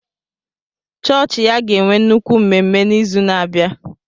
Chọọchị ya ga-enwe nnukwu mmemme n'izu na-abịa.